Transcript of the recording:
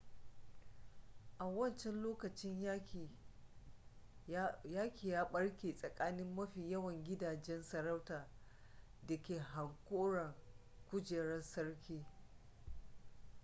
a wancan lokaci yaki ya barke tsakanin mafi yawan gidajen sarauta da ke hankoron kujerar sarki